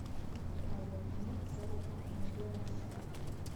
показывай фильмец сарика андреасяна